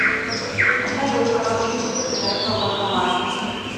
салют короткий путь до ближайшего банкомата